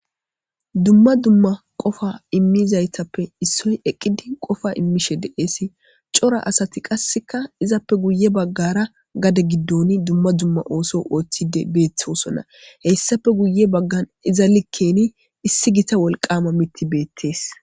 Dumma dumma qofa immizaytappe issoy eqqidi qofa immishe deeesi cora asati qasseka izappe guye baggara gade giddoni dumma dumma ooso ooththide beeththosona heyssafe guye baggan iza likkeni issi gita wolqama mitti beettees.